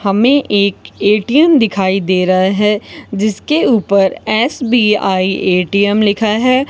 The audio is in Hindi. हमें एक ए_टी_एम दिखाई दे रहा है जिसके ऊपर एस_बी_आई ए_टी_एम लिखा है।